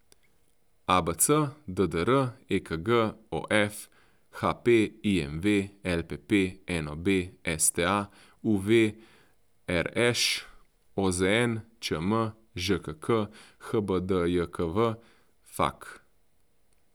ABC, DDR, EKG, OF, HP, IMV, LPP, NOB, STA, UV, RŠ, OZN, ČM, ŽKK, HBDJKV, FAQ.